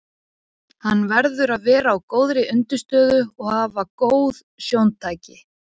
Hann verður að vera á góðri undirstöðu og hafa góð sjóntæki.